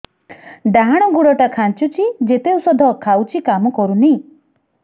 ଡାହାଣ ଗୁଡ଼ ଟା ଖାନ୍ଚୁଚି ଯେତେ ଉଷ୍ଧ ଖାଉଛି କାମ କରୁନି